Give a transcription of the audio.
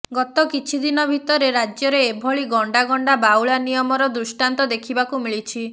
ଗତ କିଛି ଦିନ ଭିତରେ ରାଜ୍ୟରେ ଏଭଳି ଗଣ୍ଡା ଗଣ୍ଡା ବାଉଳା ନିୟମର ଦୃଷ୍ଟାନ୍ତ ଦେଖିବାକୁ ମିଳିଛି